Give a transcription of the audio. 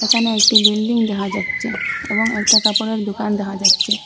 এখানে একটি বিল্ডিং দেখা যাচ্চে এবং একটা কাপড়ের দুকান দেখা যাচ্চে।